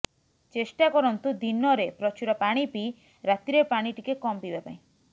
ଚେଷ୍ଟା କରନ୍ତୁ ଦିନରେ ପ୍ରଚୁର ପାଣି ପିଇ ରାତିରେ ପାଣି ଟିକେ୍ କମ୍ ପିଇବା ପାଇଁ